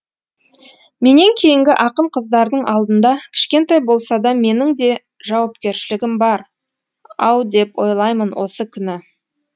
менен кейінгі ақын қыздардың алдында кішкентай болса да менің де жауапкершілігім бар ау деп ойлаймын осы күні